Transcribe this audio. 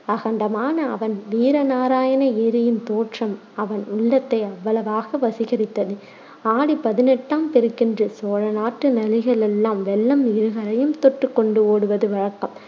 அகண்டமான அவன் வீர நாராயண ஏரியின் தோற்றம் அவன் உள்ளத்தை அவ்வளவாக வசீகரித்தது ஆடிப் பதினெட்டாம் பெருக்கன்று சோழநாட்டு நதிகளெல்லாம் வெள்ளம் இருகரையும் தொட்டுக் கொண்டு ஓடுவது வழக்கம்.